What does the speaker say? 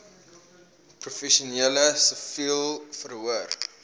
professioneel siviel vervoer